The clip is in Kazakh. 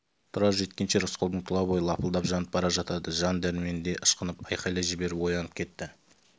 тұрар жеткенше рысқұлдың тұла бойы лапылдап жанып бара жатады жан дәрменде ышқынып айқайлап жіберіп оянып кетті